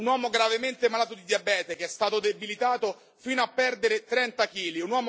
Un uomo gravemente malato di diabete che è stato debilitato fino a perdere trenta chili.